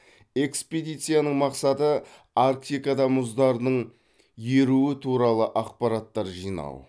экспедицияның мақсаты арктикада мұздарының еруі туралы ақпараттар жинау